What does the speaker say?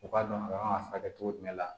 U k'a dɔn k'a furakɛ cogo jumɛn la